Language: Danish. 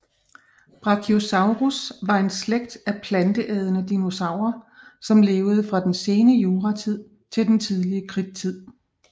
Brachiosaurus var en slægt af planteædende dinosaurer som levede fra den sene juratid til den tidlige kridttid